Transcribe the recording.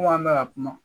Ko an bɛ ka kuma